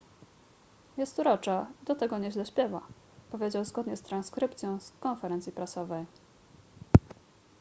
jest urocza i do tego nieźle śpiewa powiedział zgodnie z transkrypcją z konferencji prasowej